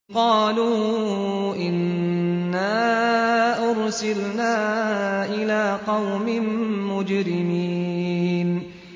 قَالُوا إِنَّا أُرْسِلْنَا إِلَىٰ قَوْمٍ مُّجْرِمِينَ